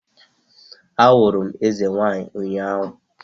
Ahụrụ m eze nwanyị ụnyahụ